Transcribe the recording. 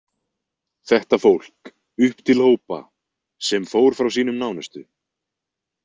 Þetta fólk, upp til hópa, sem fór frá sínum nánustu.